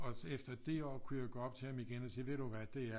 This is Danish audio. Og så efter det år kunne jeg gå op til ham igen og sige ved du hvad det er